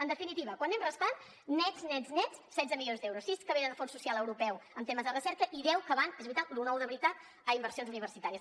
en definitiva quan restem nets nets nets setze milions d’euros sis que venen del fons social europeu en temes de recerca i deu que van és veritat lo nou de veritat a inversions universitàries